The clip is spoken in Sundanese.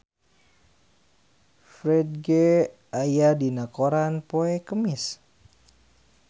Ferdge aya dina koran poe Kemis